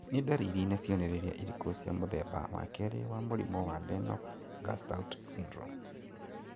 Nĩ ndariri na cionereria irĩkũ cia mũthemba wa kerĩ wa mũrimũ wa Lennox Gastaut syndrome?